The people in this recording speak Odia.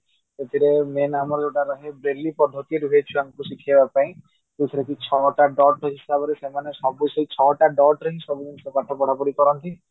ସେଥିରେ main ଆମର ଯୋଉଟା ରୁହେ brainly ପଦ୍ଧତି ରୁହେ ସେଇଟା ଆମକୁ ଶିଖେଇବା ପାଇଁ ଯୋଉଟାକି ଛଅଟା dot ହିସାବରେ ସେମାନେ ସବୁ ସେଇ ଛଅଟା dot ରେ ସବୁ ପାଠ ପଢାପଢି କରନ୍ତି